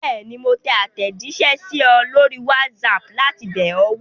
Bẹ́ẹ̀ni, mo tẹ àtẹ̀jíṣẹ́ sí ọ lórí WhatsApp láti bẹ̀ ọ́ wò.